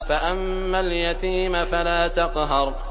فَأَمَّا الْيَتِيمَ فَلَا تَقْهَرْ